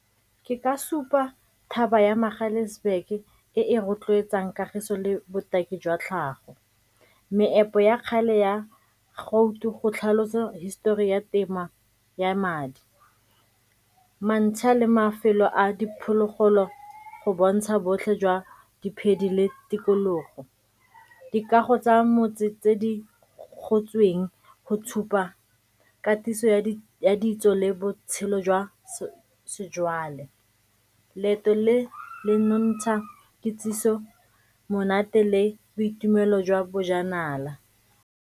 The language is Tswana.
Ke ka supa thaba ya Magaliesburg-ke e e rotloetsang kagiso le botaki jwa tlhago. Meepo ya kgale ya go tlhalosa histori ya temo ya madi, a le mafelo a diphologolo go bontsha botlhe jwa di phedile tikologo. Dikago tsa motse tse di gotsweng go tshupa katiso ya ditso le botshelo jwa sejwale, leeto le le nontsha kitsiso, monate le boitumelo jwa bojanala.